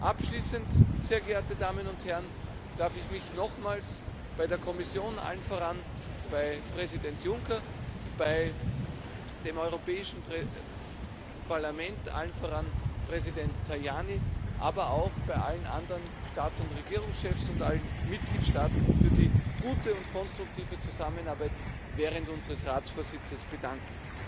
Abschließend, sehr geehrte Damen und Herren, darf ich mich nochmals bei der Kommission allen voran bei Präsident Juncker bei dem Europäischen Parlament allen voran Präsident Tajani aber auch bei allen anderen Staats und Regierungschefs und allen Mitgliedstaaten für die gute und konstruktive Zusammenarbeit während unseres Ratsvorsitzes bedanken.